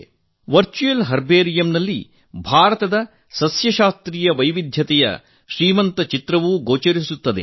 virtual ಹರ್ಬೇರಿಯಂನಲ್ಲಿ ಭಾರತದ ಸಸ್ಯಶಾಸ್ತ್ರೀಯ ವೈವಿಧ್ಯದ ಶ್ರೀಮಂತ ಚಿತ್ರಣವೂ ಗೋಚರಿಸುತ್ತದೆ